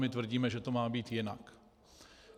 My tvrdíme, že to má být jinak.